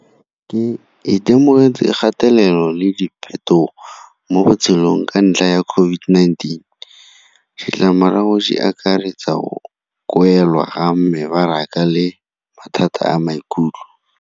Ke itemogetse kgatelelo le diphetogo mo botshelong ka ntlha ya COVID-19. Ditlamorago di akaretsa go ga mebaraka le mathata a maikutlo.